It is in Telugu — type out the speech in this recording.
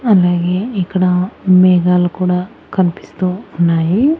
అలాగే ఇక్కడ మేఘాలు కూడా కనిపిస్తూ ఉన్నాయి.